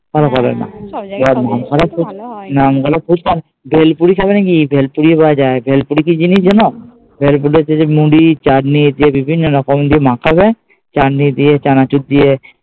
না ওখানে ফুচকা, ভেলপুরি খাবে নাকি ভেলপুরি পাওয়া যায়, ভেলপুরি কি জিনিস জানো? ভেলপুরি হচ্ছে যে মুড়ি, চাটনি এরকম বিভিন্ন রকম দিয়ে মাখা হয়, চাটনি দিয়ে, চানাচুর দিয়ে।